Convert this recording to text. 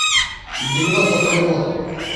девяносто второй год